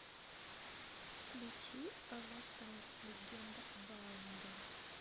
включи аватар легенда об аанге